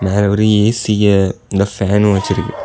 மேலொரு ஏ_சிய அங்க ஃபேனும் வச்சிருக்கு.